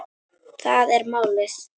Það er málið.